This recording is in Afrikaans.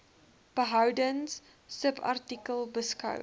behoudens subartikel beskou